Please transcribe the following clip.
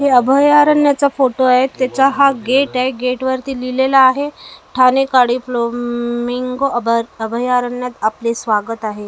हे अभयारण्याचा फोटो आहे त्याचा हा गेट आहे गेटवरती लिहिलेलं आहे ठाणे काडे फ्लो मिंग अभ अभयारण्यात आपले स्वागत आहे अस--